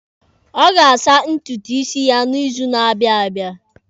Ọ ga-asa ntutu isi ya n'izu na-abịa abịa.